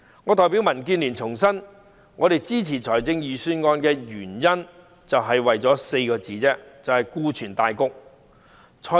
我代表民主建港協進聯盟重申，我們支持財政預算案只為了4個字——顧全大局。